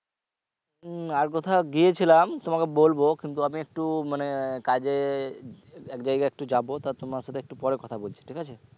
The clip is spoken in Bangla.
মম আর কোথাও গিয়েছিলাম তোমাকে বলবো কিন্তু আমি একটু মানে কাজে এক জায়গায় একটু যাবো তা তোমার সাথে একটু পরে কথা বলছি ঠিক আছে?